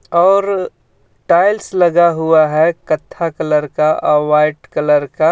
और टाइल्स लगा हुआ है कथ्था कलर का व्हाइट कलर का.